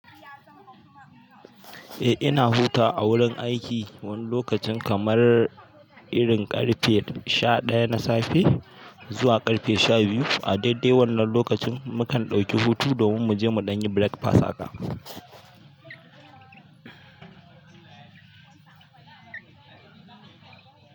Eh ina hutawa a wurin aiki wani lokacin kamar irin ƙarfe sha ɗaya na safe zuwa ƙarfe sha biyu. A daidai wannan lokacin mukan ɗauki hutu domin mu je mu ɗanyi breakfast haka.